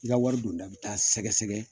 I ka wari don da bi taa sɛgɛsɛgɛ